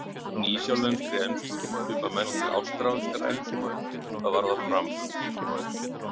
Nýsjálenskri ensku svipar mest til ástralskrar ensku hvað varðar framburð.